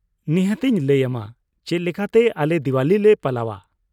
ᱱᱤᱦᱟᱹᱛ ᱤᱧ ᱞᱟᱹᱭ ᱟᱢᱟ ᱪᱮᱫ ᱞᱮᱠᱟᱛᱮ ᱟᱞᱮ ᱫᱤᱣᱟᱞᱤ ᱞᱮ ᱯᱟᱞᱟᱣᱼᱟ ᱾